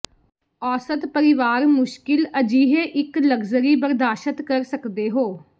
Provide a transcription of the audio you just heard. ਔਸਤ ਪਰਿਵਾਰ ਮੁਸ਼ਕਿਲ ਅਜਿਹੇ ਇੱਕ ਲਗਜ਼ਰੀ ਬਰਦਾਸ਼ਤ ਕਰ ਸਕਦੇ ਹੋ